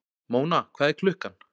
Móna, hvað er klukkan?